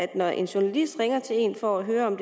der er en journalist der ringer til en for at høre om